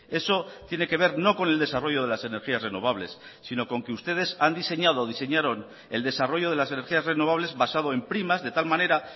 eso tiene que ver no con el desarrollo de las energías renovables sino con que ustedes han diseñado o diseñaron el desarrollo de las energías renovables basado en primas de tal manera